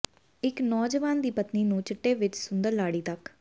ਇੱਕ ਨੌਜਵਾਨ ਦੀ ਪਤਨੀ ਨੂੰ ਚਿੱਟੇ ਵਿਚ ਸੁੰਦਰ ਲਾੜੀ ਤੱਕ